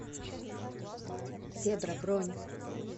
зебра бронь